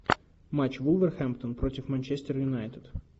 матч вулверхэмптон против манчестер юнайтед